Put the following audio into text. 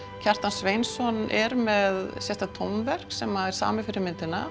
Kjartan Sveinsson er með sérstakt tónverk sem er samið fyrir myndina